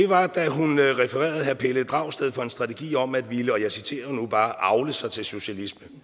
var da hun refererede herre pelle dragsted for en strategi om at ville avle sig til socialisme